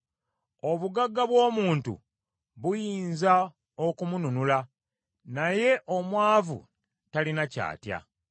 Obugagga bw’omuntu buyinza okumununula, naye omwavu talina ky’atya.